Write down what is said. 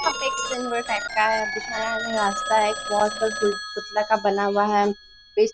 यह fix type का है। बुझाया गया रास्ता है। एक बहुत बड़ा पुतला का बना हुआ है। पेस --